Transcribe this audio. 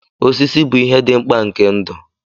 Osisi bụ ihe dị mkpa nke ndụ.